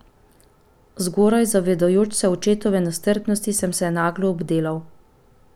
Zgoraj, zavedajoč se očetove nestrpnosti, sem se naglo obdelal.